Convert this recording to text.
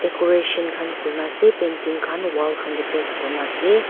decoration khan kurina ase painting khan wall khan teh paste kurine ase.